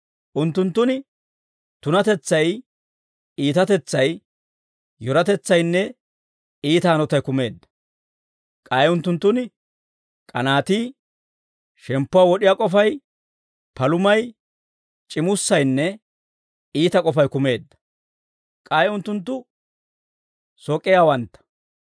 Unttunttun tunatetsay, iitatetsay, yoratetsaynne iita hanotay kumeedda; k'ay unttunttun k'anaatii, shemppuwaa wod'iyaa k'ofay, palumay, c'immussaynne iita k'ofay kumeedda; k'ay unttunttu sok'iyaawantta,